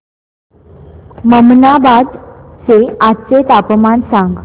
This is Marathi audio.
ममनाबाद चे आजचे तापमान सांग